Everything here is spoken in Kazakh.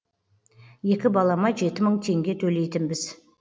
екі балама жеті мың теңге төлейтінбіз